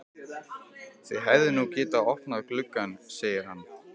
Þið hefðuð nú getað opnað gluggann, segir hann.